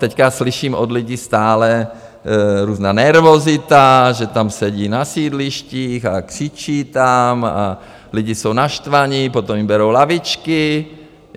Teď slyším od lidí: stále různá nervozita, že tam sedí na sídlištích a křičí tam a lidi jsou naštvaní, potom jim berou lavičky.